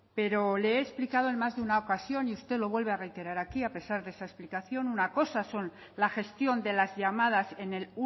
pero le he explicado en más de una ocasión y usted lo vuelve a reiterar aquí a pesar de esa explicación una cosa es la gestión de las llamadas en el